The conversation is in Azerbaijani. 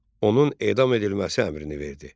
Onun edam edilməsi əmrini verdi.